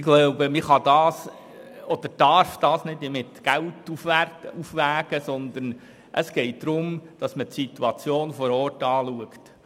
Ich glaube, man kann oder darf das nicht mit Geld aufwiegen, sondern es geht darum, dass man die Situation vor Ort anschaut.